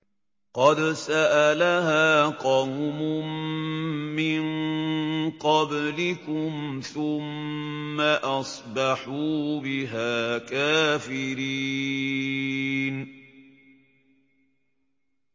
قَدْ سَأَلَهَا قَوْمٌ مِّن قَبْلِكُمْ ثُمَّ أَصْبَحُوا بِهَا كَافِرِينَ